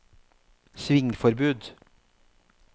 svingforbud